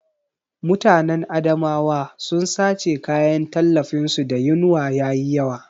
Mutanen Adamawa sun sace kayan tallafin su da yinwa yayi yawa